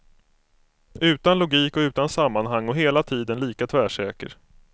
Utan logik och utan sammanhang och hela tiden lika tvärsäker.